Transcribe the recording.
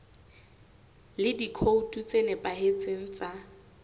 le dikhoutu tse nepahetseng tsa